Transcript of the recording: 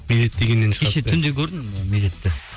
медет дегеннен түнде көрдім медетті